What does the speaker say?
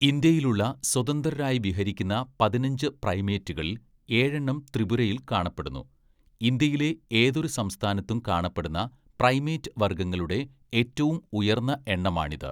ഇന്ത്യയിലുള്ള സ്വതന്ത്രരായി വിഹരിക്കുന്ന പതിനഞ്ച്‌ പ്രൈമേറ്റുകളിൽ, ഏഴെണ്ണം ത്രിപുരയിൽ കാണപ്പെടുന്നു; ഇന്ത്യയിലെ ഏതൊരു സംസ്ഥാനത്തും കാണപ്പെടുന്ന പ്രൈമേറ്റ് വർഗങ്ങളുടെ ഏറ്റവും ഉയർന്ന എണ്ണമാണിത്.